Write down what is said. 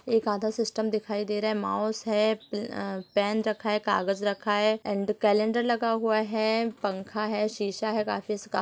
एक आधा सिस्टम दिखाई दे रहा है माउस है पेन रखा है कागज रखा है एंड कैलंडर लगा हुआ है पंखा है शीशा है काफी से का --